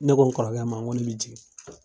Ne ko n kɔrɔkɛ ma ŋo ne be jigin.